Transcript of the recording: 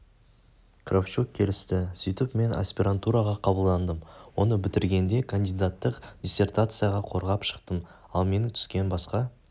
кравчук келісті сөйтіп мен асперантураға қабылдандым оны бітіргенде кандидаттық диссертацияда қорғап шықтым ал менімен түскен басқа